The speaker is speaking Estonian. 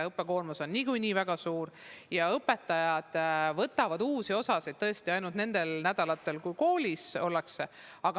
Õppekoormus on niikuinii väga suur, aga õpetajad võtavad uusi osasid ainult nendel nädalatel, kui koolis ollakse.